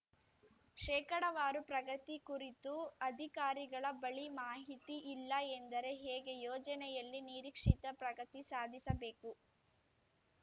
ಶೇಕಡಾವಾರು ಪ್ರಗತಿ ಕುರಿತು ಅಧಿಕಾರಿಗಳ ಬಳಿ ಮಾಹಿತಿ ಇಲ್ಲ ಎಂದರೆ ಹೇಗೆ ಯೋಜನೆಯಲ್ಲಿ ನಿರೀಕ್ಷಿತ ಪ್ರಗತಿ ಸಾಧಿಸಬೇಕು